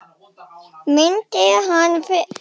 Myndi hann fyrirgefa sér það sem hann ætti ólifað?